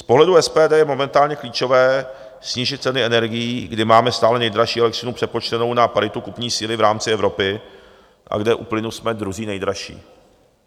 Z pohledu SPD je momentálně klíčové snížit ceny energií, kdy máme stále nejdražší elektřinu přepočtenou na paritu kupní síly v rámci Evropy a kde u plynu jsme druzí nejdražší.